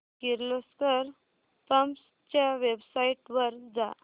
Kirloskar pumps च्या website वर जा